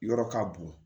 Yɔrɔ ka bon